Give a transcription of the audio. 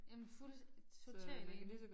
Jamen fuld totalt enig